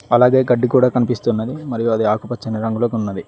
అలాగే గడ్డి కూడా కనిపిస్తూ ఉన్నది మరియు అది ఆకుపచ్చని రంగులో ఉన్నది.